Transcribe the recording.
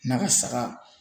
Na ka saga